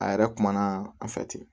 A yɛrɛ kumana an fɛ ten